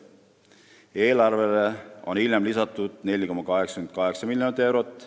Eelarvele on hiljem lisatud 4,88 miljonit eurot.